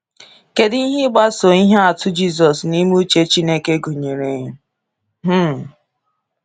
Kedu ihe ịgbaso ihe atụ Jisus n’ime uche Chineke gụnyere? um